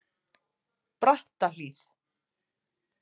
Brattahlíð